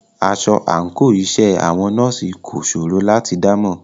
Aṣọ àńkò iṣẹ́ àwọn nọ́ọ̀sì kò ṣòro láti dámọ̀.